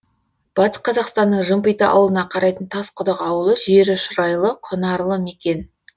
батыс қазақстанның жымпиты ауылына қарайтын тасқұдық ауылы жері шұрайлы құнарлы мекен